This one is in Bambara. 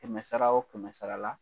Kɛmɛ sara o kɛmɛ sara la